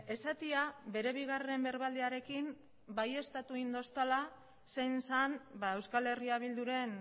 esatea bere bigarren berbaldiarekin baieztatu egin didala zein zen euskal herria bilduren